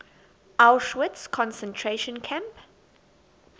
auschwitz concentration camp